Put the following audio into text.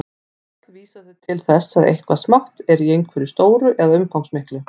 Öll vísa þau til þess að eitthvað smátt er í einhverju stóru eða umfangsmiklu.